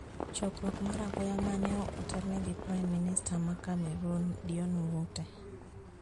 Chokruok mar apoya ma ne otelnegi Pime Minista ma Cmeroon Dion Ngute